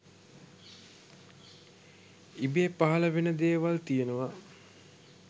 ඉබේ පහළ වෙන දේවල් තියෙනවා